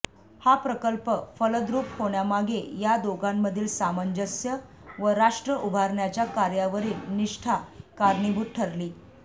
हा प्रकल्प फलद्रूप होण्यामागे या दोघांमधील सामंजस्य व राष्ट्र उभारण्याच्या कार्यावरील निष्ठा कारणीभूत ठरली